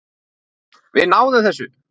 SKÚLI: Við náðum þessu.